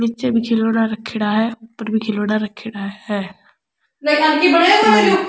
निचे भी खिलौना राखेड़ा है ऊपर भी खिलौना रखेडा है।